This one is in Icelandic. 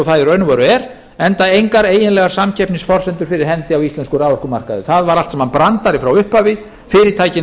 og veru er enda engar eiginlegar samkeppnisforsendur fyrir hendi á íslenskum raforkumarkaði það voru allt saman brandarar frá upphafi fyrirtækin